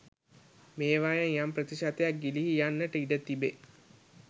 මේවායෙන් යම් ප්‍රතිශතයක් ගිලිහී යන්නට ඉඩ තිබේ.